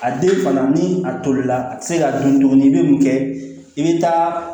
A den fana ni a tolila a te se ka dun tuguni n'i be mun kɛ i be taa